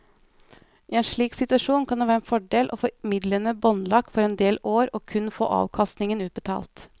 I en slik situasjon kan det være en fordel å få midlene båndlagt for en del år og kun få avkastningen utbetalt.